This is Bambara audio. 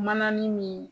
Mananin min